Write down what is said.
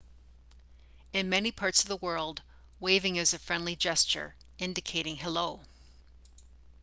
in many parts of the world waving is a friendly gesture indicating hello